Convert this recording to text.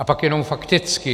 A pak jenom fakticky.